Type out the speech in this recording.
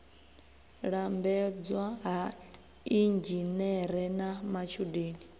lambedzwa ha inzhinere na matshudeni